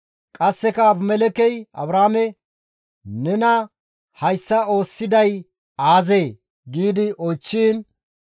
Qasseka Abimelekkey Abrahaame, «Nena hayssa oosisiday aazee?» gi oychchiin,